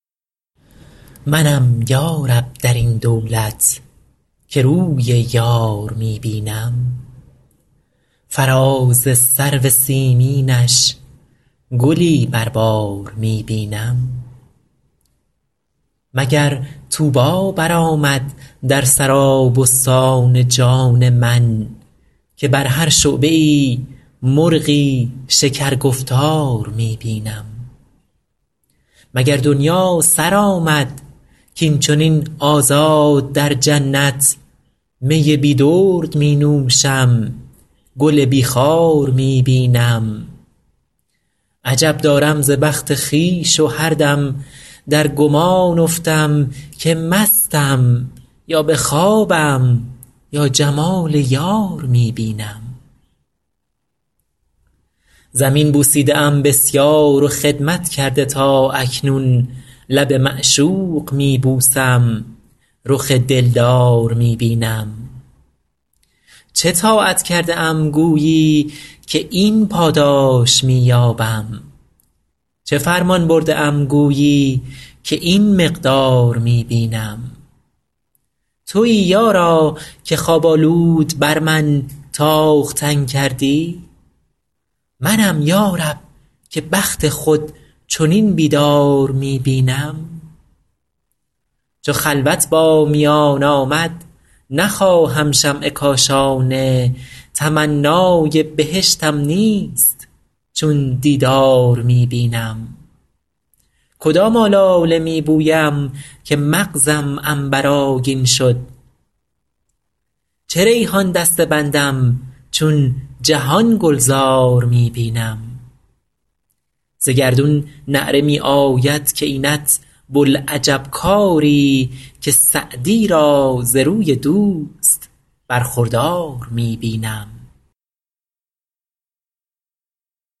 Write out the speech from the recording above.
منم یا رب در این دولت که روی یار می بینم فراز سرو سیمینش گلی بر بار می بینم مگر طوبی برآمد در سرابستان جان من که بر هر شعبه ای مرغی شکرگفتار می بینم مگر دنیا سر آمد کاین چنین آزاد در جنت می بی درد می نوشم گل بی خار می بینم عجب دارم ز بخت خویش و هر دم در گمان افتم که مستم یا به خوابم یا جمال یار می بینم زمین بوسیده ام بسیار و خدمت کرده تا اکنون لب معشوق می بوسم رخ دلدار می بینم چه طاعت کرده ام گویی که این پاداش می یابم چه فرمان برده ام گویی که این مقدار می بینم تویی یارا که خواب آلود بر من تاختن کردی منم یا رب که بخت خود چنین بیدار می بینم چو خلوت با میان آمد نخواهم شمع کاشانه تمنای بهشتم نیست چون دیدار می بینم کدام آلاله می بویم که مغزم عنبرآگین شد چه ریحان دسته بندم چون جهان گلزار می بینم ز گردون نعره می آید که اینت بوالعجب کاری که سعدی را ز روی دوست برخوردار می بینم